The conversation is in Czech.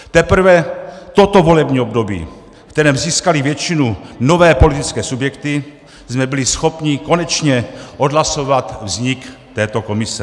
Teprve toto volební období, ve kterém získaly většinu nové politické subjekty, jsme byli schopni konečně odhlasovat vznik této komise.